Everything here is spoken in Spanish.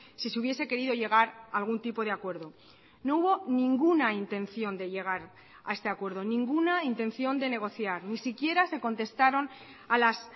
si se hubiese querido llegar a algún tipo de acuerdo no hubo ninguna intención de llegar a este acuerdo ninguna intención de negociar ni siquiera se contestaron a las